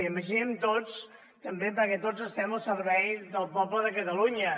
imaginem tots perquè tots estem al servei del poble de catalunya